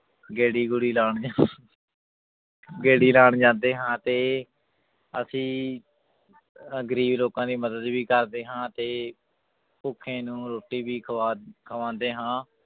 ਗੇੜੀ ਗੂੜੀ ਲਾਉਂਦੇ ਹਾਂ ਗੇੜੀ ਲਾਉਣ ਜਾਂਦੇ ਹਾਂ ਤੇ ਅਸੀਂ ਅਹ ਗ਼ਰੀਬ ਲੋਕਾਂ ਦੀ ਮਦਦ ਵੀ ਕਰਦੇ ਹਾਂ ਤੇ ਭੁੱਖੇ ਨੂੰ ਰੋਟੀ ਵੀ ਖਵਾ ਖਵਾਉਂਦੇ ਹਾਂ